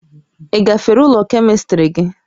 Ị gafere ule Kemịstrị gị?